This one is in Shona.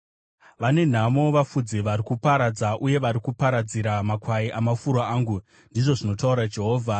“Vane nhamo vafudzi vari kuparadza uye vari kuparadzira makwai amafuro angu!” ndizvo zvinotaura Jehovha.